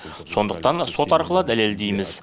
сондықтан сот арқылы дәлелдейміз